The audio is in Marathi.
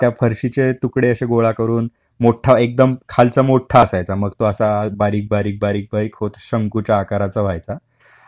ते फारशी चे तुकडे असे गोळा करून, मोठ्ठा एक्दम, खालचा मोठ्ठा असायचा मग तो असा बारीक बारीक होत शंकू च्या आकाराचा व्हायचा ,